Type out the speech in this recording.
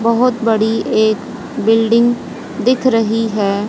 बहोत बड़ी एक बिल्डिंग दिख रही है।